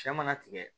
Cɛ mana tigɛ